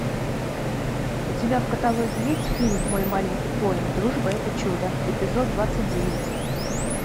у тебя в каталоге есть фильм мой маленький пони дружба это чудо эпизод двадцать девять